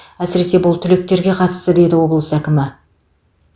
әсіресе бұл түлектерге қатысты деді облыс әкімі